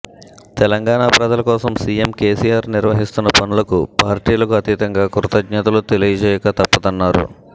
తెలంగాణ ప్రజల కోసం CM KCR నిర్వహిస్తున్న పనులకు పార్టీలకు అతీతంగా కృతజ్ఞతలు తెలియజేయక తప్పదన్నారు